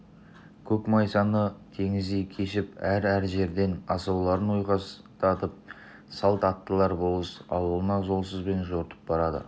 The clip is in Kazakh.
көк майсаны теңіздей кешіп әр-әр жерден асауларын ойқастатып салт аттылар болыс ауылына жолсызбен жортып барады